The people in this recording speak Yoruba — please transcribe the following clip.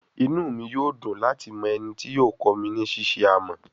Inu mi yoo dun lati mọ eni ti yoo kọ mi ni ṣiṣe amọ